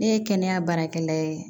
Ne ye kɛnɛya baarakɛla ye